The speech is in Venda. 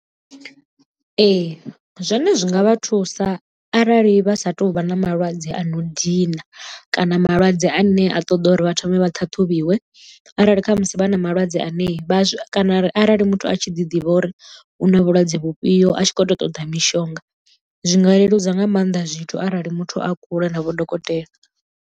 Ee zwone zwi nga vha thusa arali vha sa tu vha na malwadze a no dina kana malwadze ane a ṱoḓa uri vha thome vha ṱhaṱhuvhiwe arali khamusi vha na malwadze ane vhazwi kana arali muthu a tshi ḓi ḓivha uri u na vhulwadze vhufhio a tshi khou tou ṱoḓa mishonga zwinga leludza nga maanḓa zwithu arali muthu a kule na vho dokotela.